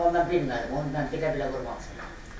Amma ondan bilmədim, ondan belə-belə vurmamışam.